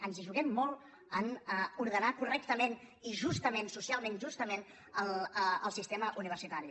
ens hi juguem molt a ordenar correctament i justa·ment socialment justament el sistema universitari